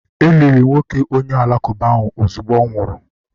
e liri nwoke onye uka Alakụba ozugbo ọ nwụrụ